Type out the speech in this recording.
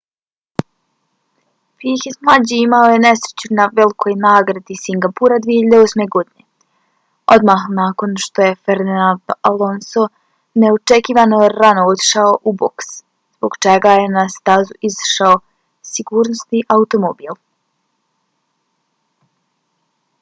piquet mlađi imao je nesreću na velikoj nagradi singapura 2008. godine odmah nakon što je fernando alonso neočekivano rano otišao u boks zbog čega je na stazu izašao sigurnosni automobil